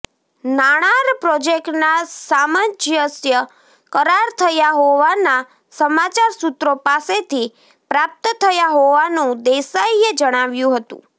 નાણાર પ્રોજેક્ટના સામંજસ્ય કરાર થયા હોવાના સમાચાર સૂત્રો પાસેથી પ્રાપ્ત થયા હોવાનું દેસાઇએ જણાવ્યું હતું